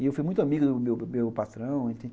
E eu fui muito amigo do do do meu patrão.